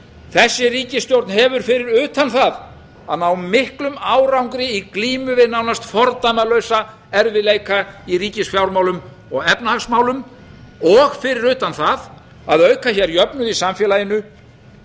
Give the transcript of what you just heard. þessi ríkisstjórn hefur fyrir utan það að ná miklum árangri í glímu við náðst fordæmalausa erfiðleika í ríkisfjármálum og efnahagsmálum og fyrir utan það að auka hér jöfnuð í samfélaginu